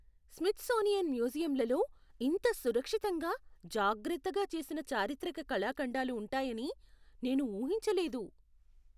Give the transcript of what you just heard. Smithsonian మ్యూజియంలలో ఇంత సంరక్షితంగా జాగ్రత్త చేసిన చారిత్రక కళాఖండాలు ఉంటాయని నేను ఊహించలేదు.